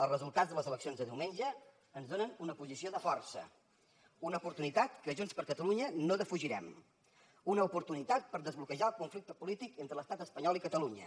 els resultats de les eleccions de diumenge ens donen una posició de força una oportunitat que junts per catalunya no defugirem una oportunitat per desbloquejar el conflicte polític entre l’estat espanyol i catalunya